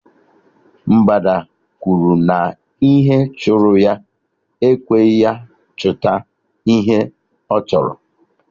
Mgbada kwuru na ihe chụrụ ya ekweghị ya chụta ihe ọ chọrọ